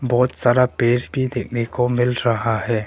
बहोत सारा पेड़ भी देखने को मिल रहा है।